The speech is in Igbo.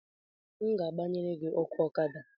m ga-gbanyere gị ọkụ Ọkada